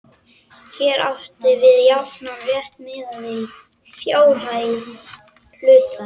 Hér er átt við jafnan rétt miðað við fjárhæð hluta.